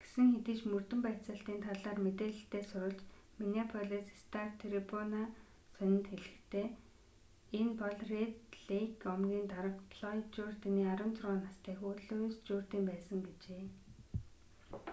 гэсэн хэдий ч мөрдөн байцаалтын талаар мэдээлэлтэй сурвалж миннеаполис стар-трибуна сонинд хэлэхдээ энэ бол рэд лейк омгийн дарга флойд журдины 16 настай хүү луис журдин байсан гэжээ